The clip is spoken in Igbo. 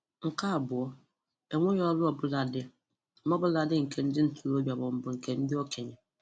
Nke abụọ, onweghi ọrụ ọbụla dị, ọ bụladi nke ndị ntorobịa ma ọbụ nke ndị okenye.